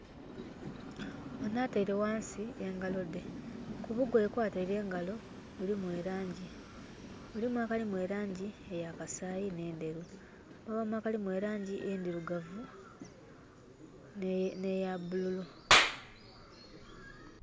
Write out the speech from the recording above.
Onho ataile ghansi engalo dde. Kubugoya kwataile engalo mulimu elangi. Mulimu akalimu elangi ey'akasaayi n'endheru. Mwabaamu akalimu elangi endhirugavu n'eyabululu.